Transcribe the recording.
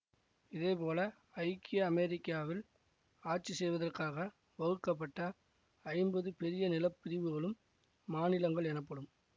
இதேபோல ஐக்கிய அமெரிக்காவில் ஆட்சி செய்வதற்காக வகுக்கப்பட்ட ஐம்பது பெரிய நிலப்பிரிவுகளும் மாநிலங்கள் எனப்படும்